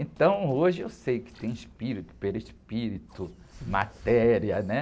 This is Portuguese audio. Então, hoje eu sei que tem espírito, perispírito, matéria, né?